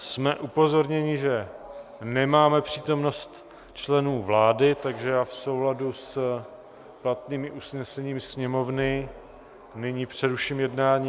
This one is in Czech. Jsme upozorněni, že nemáme přítomnost členů vlády, takže já v souladu s platnými usneseními Sněmovny nyní přeruším jednání...